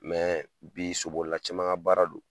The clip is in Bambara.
bi sobolila caman ka baara don